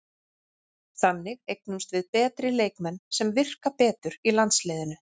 Þannig eignumst við betri leikmenn sem virka betur í landsliðinu.